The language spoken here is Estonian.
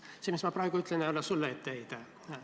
See, mis ma praegu ütlen, ei ole etteheide sulle.